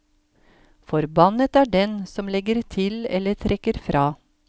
Forbannet er den som legger til eller trekker fra.